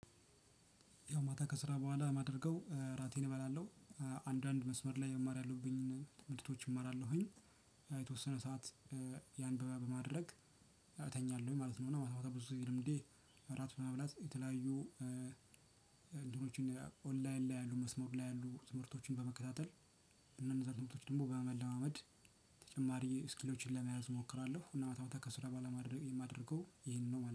ያው ማታ ከስራ በኋላ ማደርገው እራቴን እበላለሁ። አንዳንድ መስመር ላይ መማር ያለብኝን ትምህርቶች እማራለሁኝ። የተወሰነ ሰዓት ያን በማድረግ እተኛለሁኝ ማለት ነው። እና ማታ ማታ ብዙ ጊዜ ልምዴ እራት በመብላት የተለያዩ እንትኖችን ኦንላይን ላይ ያሉ መስመር ላይ ያሉ ትምህርቶችን በመከታተል። እነዛን ትምህርቶች ደግሞ በመለማመድ ተጨማሪ ስኪሎችን ለመያዝ እሞክራለሁ። እና ማታ ማታ ከስራ ቡሀላ ማድረግ የማደርገው ይሄንን ነው